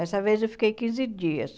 Essa vez eu fiquei quinze dias.